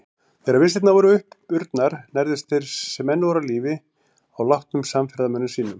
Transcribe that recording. Þegar vistirnar voru uppurnar nærðust þeir sem enn voru á lífi á látnum samferðamönnum sínum.